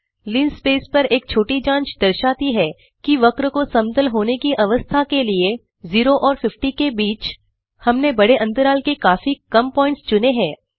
linspace पर एक छोटी जांच दर्शाती है कि वक्र को समतल होने की अवस्था के लिए 0 और 50 के बीच हमने बड़े अंतराल के काफी कम प्वॉइंट्स चुने हैं